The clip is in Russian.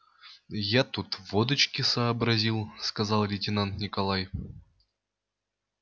я тут водочки сообразил сказал лейтенант николай